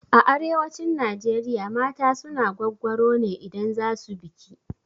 A arewacin Najeriya mata suna gwaggwaro ne idan za su biki.